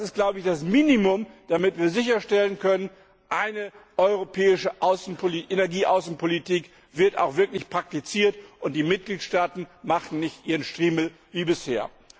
Das ist das Minimum, damit wir sicherstellen können Eine europäische Energieaußenpolitik wird auch wirklich praktiziert, und die Mitgliedstaaten machen nicht ihren Striemel wie bisher.